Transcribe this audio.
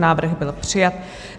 Návrh byl přijat.